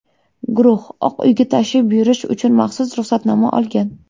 Guruh Oq uyga tashrif buyurish uchun maxsus ruxsatnoma olgan.